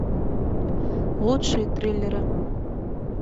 лучшие триллеры